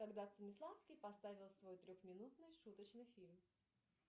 когда станиславский поставил свой трехминутный шуточный фильм